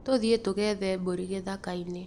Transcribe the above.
Tũthiĩ tũgethe mbũri gĩthakainĩ.